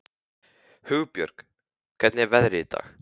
Hugbjörg, hvernig er veðrið í dag?